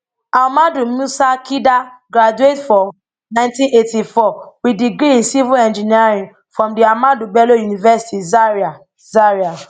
ahmadu musa kida graduate for nineteen eighty four wit degree in civil engineering from di ahmadu bello university zaria zaria